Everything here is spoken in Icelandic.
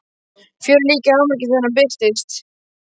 Fjörið líka í hámarki þegar hann birtist.